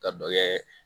Ka dɔ kɛ